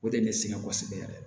O de ye ne sɛgɛn kosɛbɛ yɛrɛ